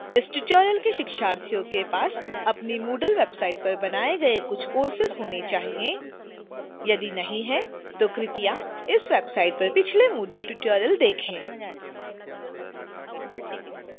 इस tutorial के शिक्षार्थियों के पास अपनी moodle website पर बनाए गए कुछ courses होने चाहिए